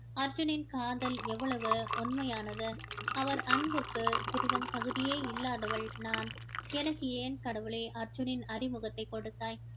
அர்ஜுனின் காதல் எவ்வளவு உண்மையானது அவர் அன்புக்கு சிறிதும் தகுதியே இல்லாதவள் நான் எனக்கு ஏன் கடவுளே அர்ஜுனின் அறிமுகத்தை கொடுத்தாய்